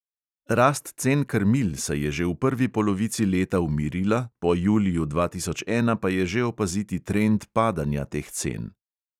Rast cen krmil se je že v prvi polovici leta umirila, po juliju dva tisoč ena pa je že opaziti trend padanja teh cen.